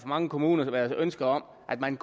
mange kommuner været ønske om at man